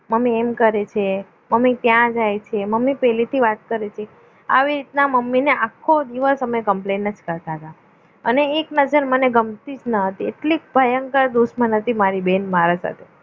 mummy એમ કરે છે મમ્મી ત્યાં જાય છે મમ્મી પેલી થી વાત કરી તી આવી રીતે અમે આખો દિવસ મમ્મીને complain કરતા હતા અને એક નજર મને ગમતી ન હતી એટલે ભયંકર દુશ્મન હતી મારી બેન મારા સાથે